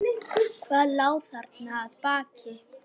Hvað lá þarna að baki?